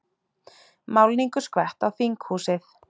Málningu skvett á þinghúsið